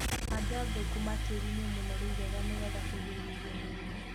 Handa thũkũma tĩĩri-inĩ mũnoru wega nĩgetha kũgirĩrĩa mĩrimũ.